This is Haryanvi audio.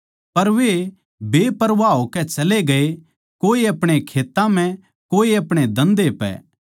पर वे बेपरवाह होकै चले गये कोए अपणे खेत्तां म्ह कोए अपणे धन्धे पै